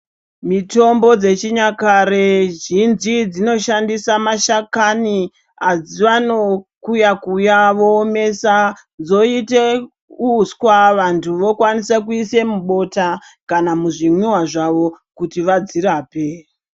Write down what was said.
Mitombo dzechinyakare zhinji dzinoshandisa mashakani avanokuya-kuya voomesa dzoite uswa, vantu vokwanise kuise mubota kana muzvimwiwa zvavo kuti vadzirape.